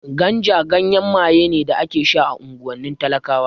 Ganja ganyen maye ne da ake sha a unguwannin talakawa